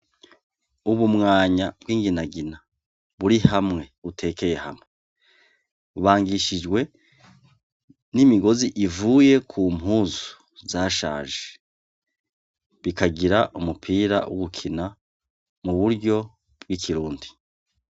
Ubumwanya bw'inginagina, buri hamwe utekeye hamwe. Bubangishijwe n'imigozi ivuye ku mpuzu zashaje bikagira umupira wo gukina mu buryo bw'ikirundi.